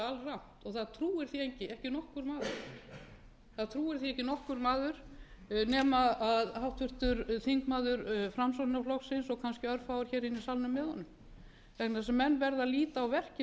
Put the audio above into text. efnahagslífið sem er auðvitað alrangt og það trúir því ekki nokkur maður nema háttvirtur þingmaður framsóknarflokksins og kannski örfáir hér inni í salnum með honum vegna þess að menn verða að líta á verkin